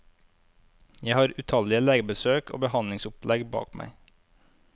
Jeg har utallige legebesøk og behandlingsopplegg bak meg.